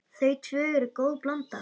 Þau tvö eru góð blanda.